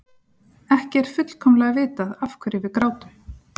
Ekki er fullkomlega vitað af hverju við grátum.